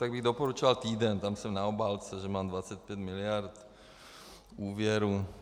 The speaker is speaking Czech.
Tak bych doporučoval Týden, tam jsem na obálce, že mám 25 miliard úvěru.